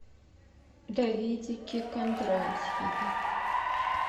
давидике кондратьеве